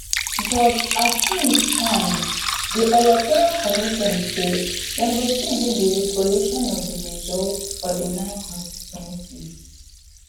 but as tins stand di electoral commission say dem go still do di recollation of di results for di nine constituencies